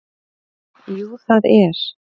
Jú það er